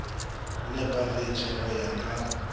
ne pagetše go ya ka